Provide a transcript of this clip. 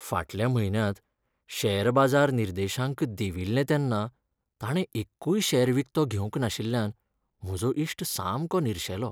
फाटल्या म्हयन्यांत शेअर बाजार निर्देशांक देंविल्ले तेन्ना ताणें एक्कूय शेअर विकतो घेवंक नाशिल्ल्यान म्हजो इश्ट सामको निरशेलो.